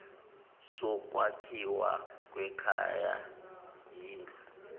sokwakhiwa kwekhaya yindlu